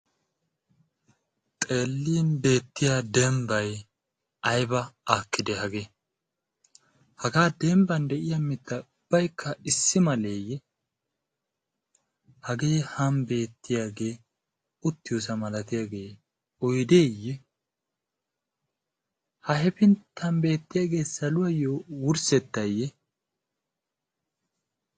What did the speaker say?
xeelin beetiya dembay ayba aakidee hagee? hagee demban diya mitay ubbaykka issi malee ye? hagee han beetiyage, uttiyoosa malatiyage poydeeye? ha hefintan beetiyage saluwayo wursetee?